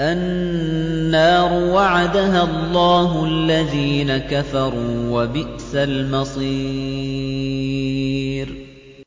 النَّارُ وَعَدَهَا اللَّهُ الَّذِينَ كَفَرُوا ۖ وَبِئْسَ الْمَصِيرُ